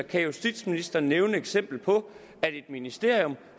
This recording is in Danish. kan justitsministeren nævne et eksempel på at et ministerium